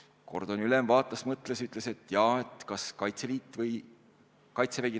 Kordoni ülem mõtles ja ütles, et kas Kaitseliit või Kaitsevägi.